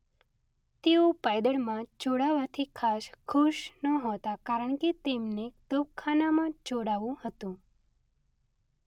તેઓ પાયદળમાં જોડાવાથી ખાસ ખુશ નહોતા કારણ કે તેમને તોપખાનામાં જોડાવું હતું.